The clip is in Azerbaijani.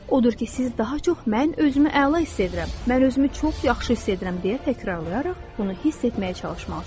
Odur ki, siz daha çox mən özümü əla hiss edirəm, mən özümü çox yaxşı hiss edirəm deyə təkrarlayaraq bunu hiss etməyə çalışmalısınız.